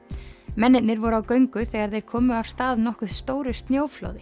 mennirnir voru á göngu þegar þeir komu af stað nokkuð stóru snjóflóði